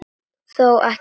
Þó ekki oft.